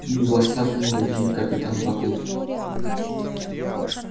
и у вас так много денег капитан батлер